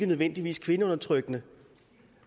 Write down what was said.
nødvendigvis kvindeundertrykkende